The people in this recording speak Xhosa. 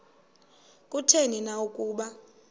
kutheni na ukuba